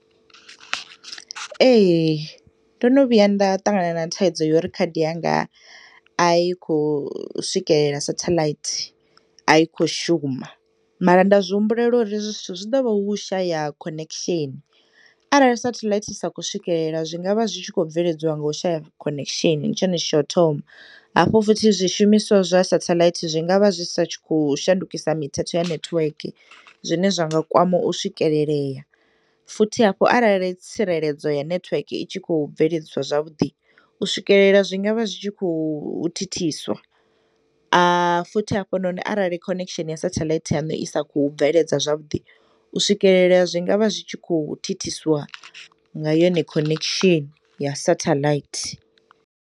Ee, ndono vhuya nda ṱangana na thaidzo yori khadi yanga ayikhou swikelela sathalaithi ayikhoshuma mara nda zwihumbulela uri hezwi zwithu zwiḓovha hu ushaya khoneksheni. Arali sathalaithi isakho swikelela zwingavha zwi khou bveledzwa ngo shaya khoneksheni, ndi tshone tshithu tsha u thoma hafho futhi zwishumiswa zwa sathalaithi zwingavha zwisitshakhou shandukisa mithethe ya nethweke zwine zwanga kwama u swikeleleya, futhi hafhu arali tsireledzo ya nethweke itshikhou bveledziswa zwavhuḓi, u swikelelea zwingavha zwitshikho thithiswa futhi hafhunoni arali khoneksheni ya sathalaithi yanu i sa khou bveledza zwavhuḓi, u swikeleleya zwingavha zwitshikhou thithiswa ngayone khonekishini ya sathalaithi.